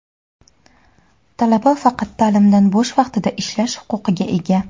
talaba faqat taʼlimdan bo‘sh vaqtida ishlash huquqiga ega.